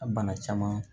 A bana caman